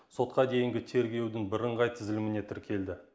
сотқа дейінгі тергеудің бірыңғай тізіміне тіркелді